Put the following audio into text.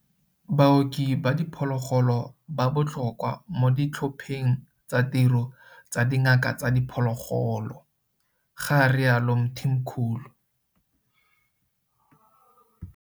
Baoki ba diphologolo ba botlhokwa mo ditlhopheng tsa tiro tsa dingaka tsa diphologolo, ga rialo Mthimkhulu.